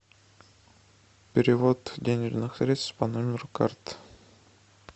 перевод денежных средств по номеру карты